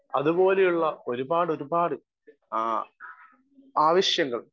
speaker 1 അതുപോലെയുള്ള ഒരുപാടൊരുപാട് ആ ആവശ്യങ്ങൾ